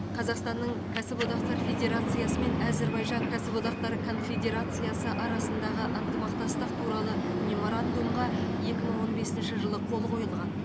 қазақстанның кәсіподақтар федерациясы мен әзірбайжан кәсіподақтары конфедерациясы арасындағы ынтымақтастық туралы меморандумға екі мың он бесінші жылы қол қойылған